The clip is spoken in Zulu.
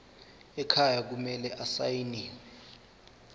ekhaya kumele asayiniwe